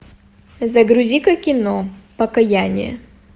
загрузи ка кино покояние